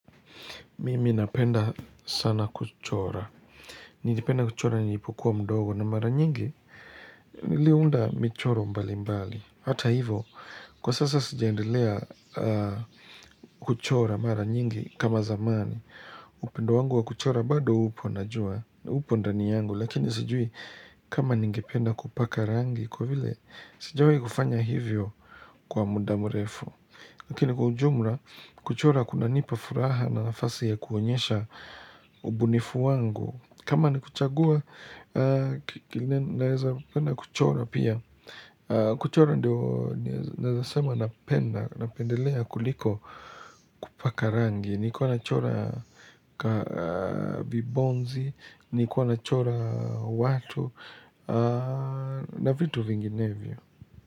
Mimi napenda sana kuchora. Nilipenda kuchora nilipokuwa mdogo na mara nyingi niliunda michoro mbalimbali. Hata hivyo kwa sasa sijaendelea kuchora mara nyingi kama zamani. Upendo wangu wa kuchora bado upo najua. Upo ndani yangu lakini sijui kama ningependa kupaka rangi kwa vile sijawai kufanya hivyo kwa muda mrefu Lakini kwa ujumla kuchora kunanipa furaha na nafasi ya kuonyesha ubunifu wangu kama ni kuchagua naweza kuchora pia, kuchora ndio naweza sema napenda napendelea kuliko kupaka rangi, nilikuwa nachora vibonzi nilikuwa nachora watu na vitu vinginevyo.